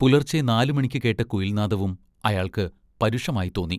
പുലർച്ചെ നാലുമണിക്ക് കേട്ട കുയിൽനാദവും അയാൾക്ക് പരുഷമായിത്തോന്നി.